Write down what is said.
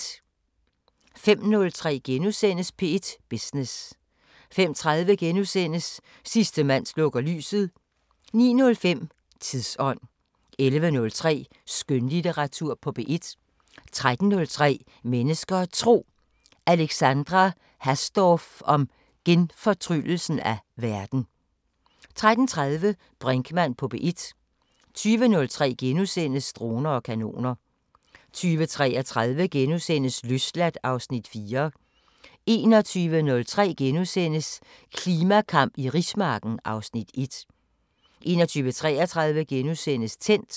05:03: P1 Business * 05:30: Sidste mand slukker lyset * 09:05: Tidsånd 11:03: Skønlitteratur på P1 13:03: Mennesker og Tro: Alexandra Hasdorf om genfortryllelse af verden 13:30: Brinkmann på P1 20:03: Droner og kanoner * 20:33: Løsladt (Afs. 4)* 21:03: Klimakamp i rismarken (Afs. 1)* 21:33: Tændt *